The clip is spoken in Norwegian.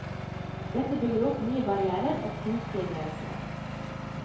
Dette bygger opp nye barrièrer og kunstige grenser.